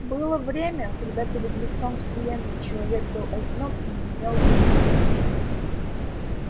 было время когда перед лицом вселенной человек был одинок и не имел друзей